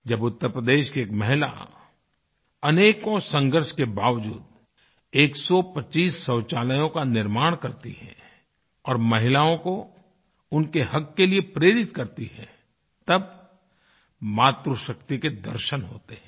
जब उत्तरप्रदेश की एक महिला अनेकों संघर्ष के बावजूद 125 शौचालयों का निर्माण करती है और महिलाओं को उनके हक़ के लिए प्रेरित करती है तब मातृशक्ति के दर्शन होते हैं